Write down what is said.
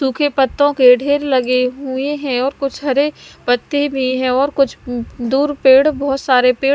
सूखे पत्तों के ढेर लगे हुए हैं और कुछ हरे पत्ते भी हैं और कुछ दूर पेड़ बहोत सारे पे--